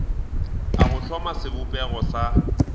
a go hloma sebopego sa